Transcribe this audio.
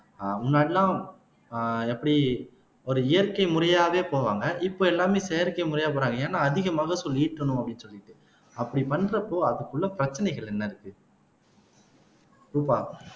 அஹ் முன்னாடி எல்லாம் அஹ் எப்படி ஒரு இயற்கை முறையாவே போவாங்க இப்ப எல்லாமே செயற்கை முறையா போறாங்க ஏன்னா அதிக மகசூல் ஈட்டணும் அப்படின்னு சொல்லிட்டு அப்படி பண்றப்போ அதுக்குள்ள பிரச்சனைகள் என்ன இருக்கு ரூபா